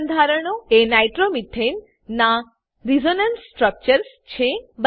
બે બંધારણો એ નાઇટ્રોમીથેન નાં રેઝોનન્સ સ્ટ્રકચર્સ છે